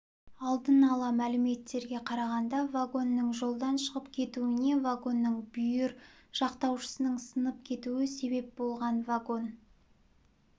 алдын ала мәліметтерге қарағанда вагонның жолдан шығып кетуіне вагонның бүйір жақтаушасының сынып кетуі себеп болған вагон